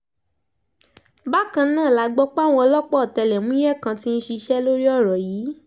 bákan náà la gbọ́ páwọn ọlọ́pàá ọ̀tẹlẹ̀múyẹ́ kan ti ń ṣiṣẹ́ lórí ọ̀rọ̀ yìí